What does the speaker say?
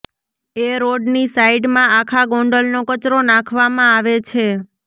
એ રોડની સાઈડમાં આખા ગોંડલનો કચરો નાંખવામાં આવે છે